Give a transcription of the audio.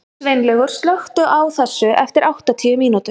Sveinlaugur, slökktu á þessu eftir áttatíu mínútur.